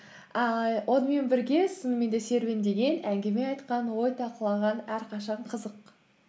ііі онымен бірге сосын мен де серуендеген әңгіме айтқан ой талқылаған әрқашан қызық